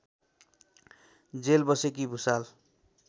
jail बसेकी भुसाल